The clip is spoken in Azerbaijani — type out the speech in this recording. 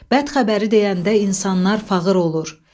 Bəd xəbəri deyəndə insanlar fağır olur.